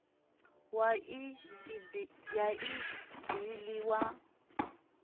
wa i e bill wa